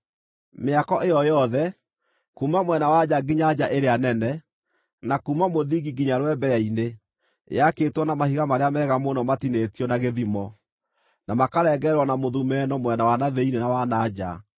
Mĩako ĩyo yothe, kuuma mwena wa nja nginya nja ĩrĩa nene, na kuuma mũthingi nginya rwembeya-inĩ, yaakĩtwo na mahiga marĩa mega mũno matinĩtio na gĩthimo, na makarengererwo na mũthumeno mwena wa na thĩinĩ na wa na nja.